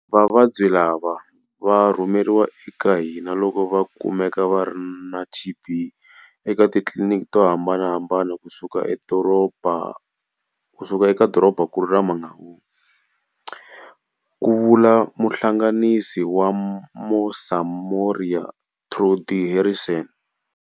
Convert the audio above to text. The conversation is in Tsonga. Vavabyi lava va rhumeriwa eka hina loko va kumeka va ri na TB eka titliliniki to hambanahambana kusuka eka dorobankulu ra Mangaung, ku vula muhlanganisi wa Mosamoria, Trudie Harrison.